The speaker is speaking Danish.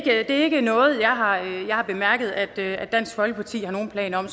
er ikke noget jeg har har bemærket at at dansk folkeparti har nogen planer om